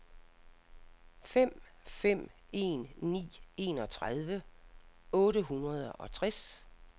fem fem en ni enogtredive otte hundrede og tres